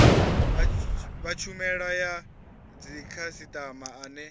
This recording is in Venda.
wa tshumelo ya dzikhasitama ane